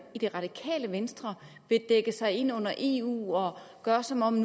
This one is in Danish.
i det radikale venstre vil dække sig ind under eu og gøre som om